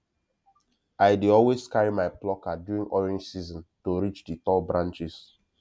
i dey always carry my plucker during orange season to reach the tall branches